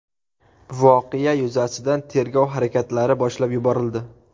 Voqea yuzasidan tergov harakatlari boshlab yuborildi.